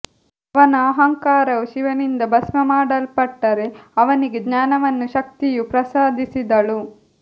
ಅವನ ಅಹಂಕಾರವು ಶಿವನಿಂದ ಭಸ್ಮ ಮಾಡಲ್ಪಟ್ಟರೆ ಅವನಿಗೆ ಜ್ಞಾನವನ್ನು ಶಕ್ತಿಯು ಪ್ರಸಾದಿಸಿದಳು